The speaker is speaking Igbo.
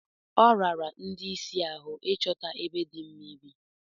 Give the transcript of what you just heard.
Ọ rara ndị isi ahụ ịchọta ebe dị mma ibi.